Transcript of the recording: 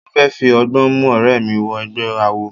Mo fẹ́ fi ọgbọ́n mú ọ̀rẹ́ mi wọ egbẹ́ awo.